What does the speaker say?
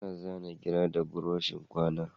Ana zana gira da buroshin kwana